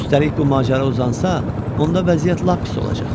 Üstəlik bu macəra uzansa, onda vəziyyət lap pis olacaq.